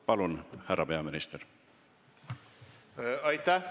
Palun, härra peaminister!